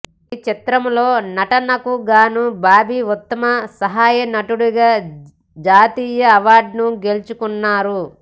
ఈ చిత్రంలో నటనకుగాను బాబి ఉత్తమ సహాయనటుడిగా జాతీయ అవార్డును గెలుచుకున్నారు